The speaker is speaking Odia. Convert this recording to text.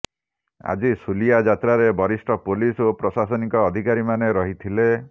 ଆଜି ଶୁଲିଆ ଯାତ୍ରାରେ ବରିଷ୍ଠ ପୁଲିସ ଓ ପ୍ରଶାସନିକ ଅଧିକାରୀମାନେ ରହିଥିଲେ